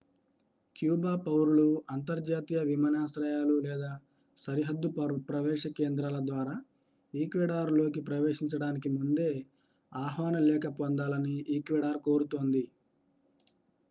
Cuba పౌరులు అంతర్జాతీయ విమానాశ్రయాలు లేదా సరిహద్దు ప్రవేశ కేంద్రాల ద్వారా ఈక్వెడార్లోకి ప్రవేశించడానికి ముందే ఆహ్వాన లేఖ పొందాలని ఈక్వెడార్ కోరుతోంది